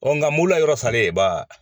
Ɔ nka mɔw la yɔrɔ salen ye ba